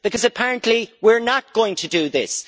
Because apparently we are not going to do this.